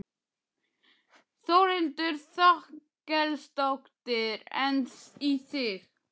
Þórhildur Þorkelsdóttir: En í þig?